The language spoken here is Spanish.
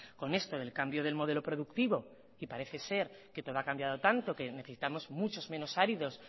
con esto del cambio del modelo productivo y parece ser que todo ha cambiado tanto que necesitamos muchos menos áridos